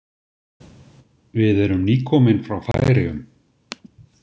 Við erum nýkomin frá Færeyjum.